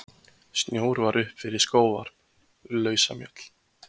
Snjór var upp fyrir skóvarp, lausamjöll.